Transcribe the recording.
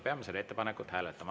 Peame seda ettepanekut hääletama.